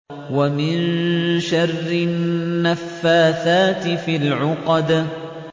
وَمِن شَرِّ النَّفَّاثَاتِ فِي الْعُقَدِ